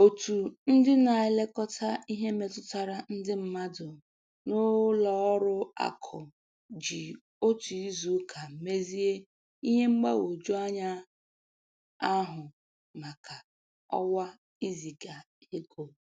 Otu ndị na-elekọta ihe metụtara ndị mmadụ n'ụlọ ọrụ akụ ji otu izuụka mezie ihe mgbagwoju anya ahụ maka ọwa iziga ego